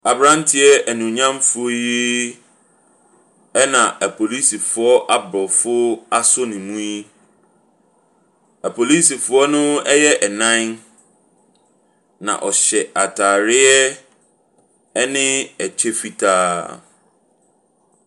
Aberanteɛ animuonyamfoɔ yi na apolisifoɔ aborɔfo asɔ ne mu yi. Apolisifoɔ no yɛ nnan, na ɔhyɛ atareɛ ne kyɛ fitaa.